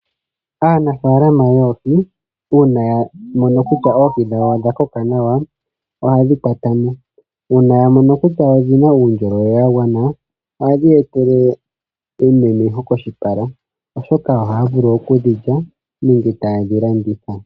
Aanafaalama yoohi uuna yamono kutya oohi dhawo odha koka nawa ohaye dhi kwatamo. Uuna yamono kutya odhina uundjolowele wagwana ohadhi ya etele eyimemeho koshipala, oshoka ohaya vulu okudhi lya nenge taye dhilanditha.